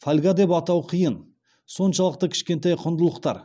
фольга деп атау қиын соншалықты кішкентай құндылықтар